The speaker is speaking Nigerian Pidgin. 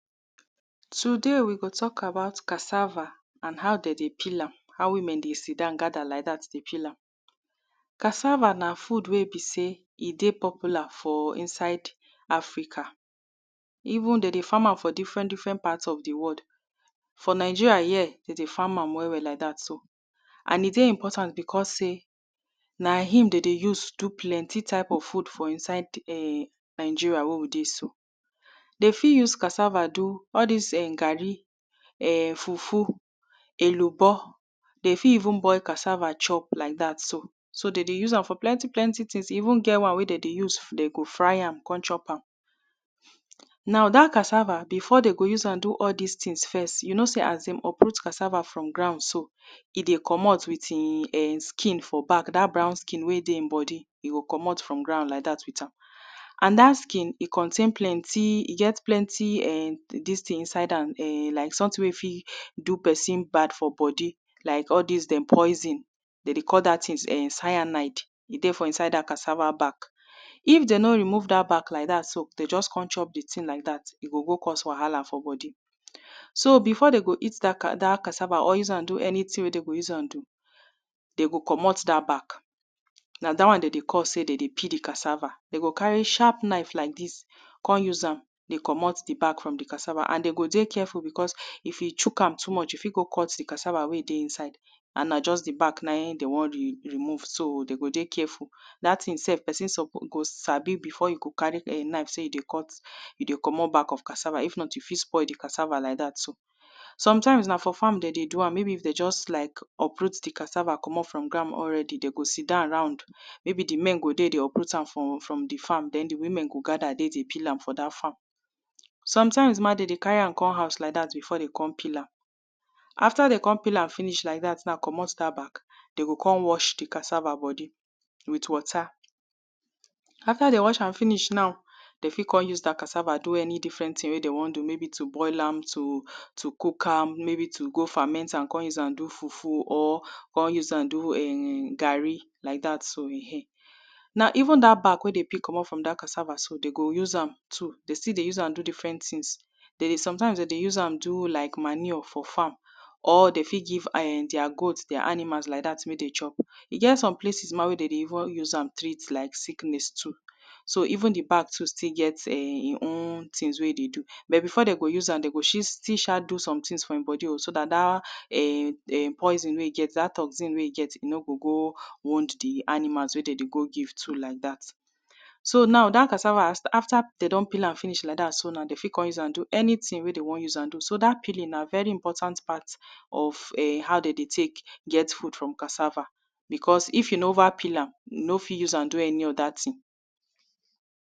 Today we go tok about cassava and how de dey peel am, how women dey gather around dey peel am. Cassava na food wey be sey e dey popular for inside Africa, even de dey farm am for different different part of di world. For Nigeria here, de dey farm am well well like dat so and e dey importand because sey n aim de dey use do plenty type of food for inside nigerai wen we dey so. De fit use cassava do all dis garri, fufu, elubo, de fit even boil cassava chop like dat so. So de dey use am for plenty plenty things too. So e even get wan wey de go fry am kon chop am. Now dat cassava before de go use am do all dis things first, you know sey as dem uproot cassava from ground so, e dey commot with e skin for back dat brown skin wen dey e bodi e go commot for ground with am. And dat skin, e c ontain, e get[um]plenty[um]dis thing inside am like something wey you fit use do pesin bad for bodi like all dis dem poison de dey call dat thing sananide e dey for inside dat cassava back. If dem no rally remove dat back so, de just kon chop di thing like dat, e go go cause wahala for bodi. So before de go eat da cassava or use am do anything wey de go use am do, de go commot dat back. Na dat wan de dey call se dey dey peel di cassava. Na dat wan de dey call sey de dey peel di cassava. De go carry sharp knife like dis kon use am sey den de commot di back from di cassava and dem go dey careful because if you chook am too much, you fit go cut di cassava wen dey nside and na just di back na in de won remove so den go dey careful. Dat thing self pesin go sabi before e go carry knife sey e dey commot back of cassava if noy you fit spoil di cassava too. Some self na for farm de dey do am maybe if de just like uproot di cassava commot for ground, de go sit down round maybe di men dem dey uproot am from di farm, den di woman go gather dey pee am for dat farm. Sometime de dey carry am come house like dat before de kon peel am. Afta de kon peel am like dat finishcommot dat back, de go kon wash di cassava with water. Afta de don wash am finish, de fit kon use di cassava do anything wey de won use am do. Dey boil am, too cook am, maybe to go ferment am kon use am do fuf or kn use am do garri like dat oh. Now even dat back wen de dey use commot for dat back so, de dey use am too do different things. Sometimes de dey use am do like manure for farm, or de fit give their good like animal like dat to chop. e get some places wey dey dey even treat like sickness too, so even di back too, still get things wey e dey do but before dey go use am, dey go still sha do some things for e bodi so dat dat poison wey e get dat toxin wen e get no go go wound di animal wey de dey go give too like dat. So now dat cassava afta de don peel am finish, de fit kon use am do anything wey de won do now. So dat peeling na very important part of how de dey tek get food from cassava because if you neva peel am, you no fit use am do any other thing.